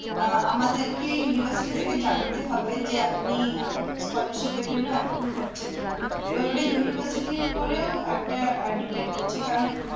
আহ আমাদেরকে university থেকে জানতে হবে যে আপনি আহ scholarship এর জন্য approve হচ্ছেন কি না এবার ওদের university র উপরেও একটা depend করছে কারণ